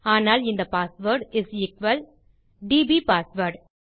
ஆனால் இந்த password is equal DB password